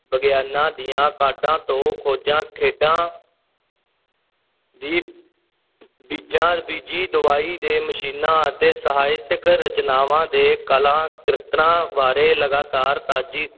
ਵਿਗਿਆਨਾਂ ਦੀਆਂ ਕਾਢਾਂ ਤੋਂ ਖੋਜਾਂ, ਖੇਡਾਂ ਵੀ ਬੀਜਾਂ, ਬੀਜੀ ਦਵਾਈ ਦੇ ਮਸ਼ੀਨਾਂ ਅਤੇ ਸਾਹਿਤਕ ਰਚਨਾਵਾਂ ਦੇ ਕਲਾ ਕਿਰਤਾਂ ਬਾਰੇ ਲਗਾਤਾਰ ਤਾਜ਼ੀ